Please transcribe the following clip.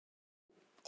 Svo miklu eru eytt.